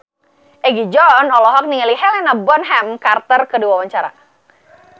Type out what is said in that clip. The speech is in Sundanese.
Egi John olohok ningali Helena Bonham Carter keur diwawancara